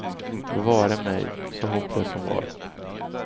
Bevare mig, så hopplös hon var.